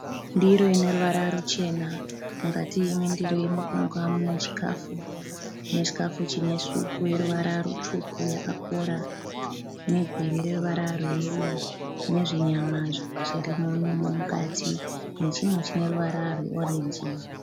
Ndiro ine ruvara ruchena. Mukati mendiro iyi muri kuonekwa mune chikafu. Mune chikafu chine supu yeruvara rutsvuku yakakora negwiri reruvara rweyero nezvinyama zvirimo imomo mukati nechimwe chine ruvara rweorenji.